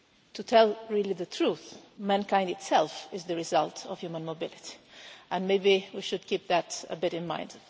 To tell the truth mankind itself is the result of human mobility, and maybe we should keep that a bit in mind.